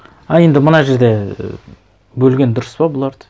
ы енді мына жерде і бөлген дұрыс па бұларды